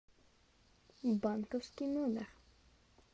банковский номер